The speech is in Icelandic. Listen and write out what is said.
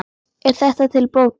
Er þetta til bóta.